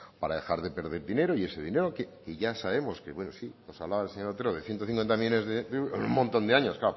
para dejar de perder dinero y ese dinero que ya sabemos que bueno sí pues hablaba el señor otero de ciento cincuenta millónes de euros un montón de años